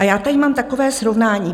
A já tady mám takové srovnání.